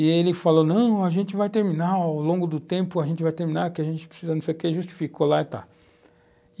E ele falou, não, a gente vai terminar, ao longo do tempo a gente vai terminar, que a gente precisa disso aqui, justificou lá e tal.